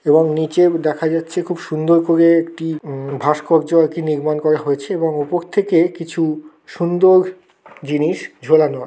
এবং নিচে দেখা যাচ্ছে খুব সুন্দর করে একটি উম ভাস্কর্য কি নির্মাণ করা হয়েছে এবং উপর থেকে কিছু সুন্দর জিনিস ঝুলানো আ--